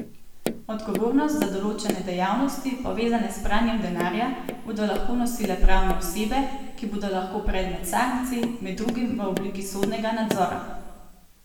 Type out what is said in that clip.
Odgovornost za določene dejavnosti, povezane s pranjem denarja, bodo lahko nosile pravne osebe, ki bodo lahko predmet sankcij, med drugim v obliki sodnega nadzora.